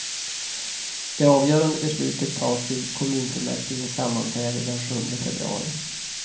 Det avgörande beslutet tas vid kommunfullmäktiges sammanträde den sjunde februari.